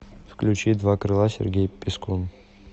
включи два крыла сергей пискун